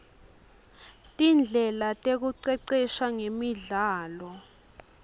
tindlela tekuicecesha ngemidlalo